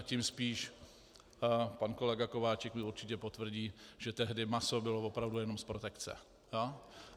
A tím spíš pan kolega Kováčik mi určitě potvrdí, že tehdy maso bylo opravdu jenom z protekce.